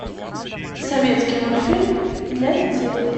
советский мультфильм для детей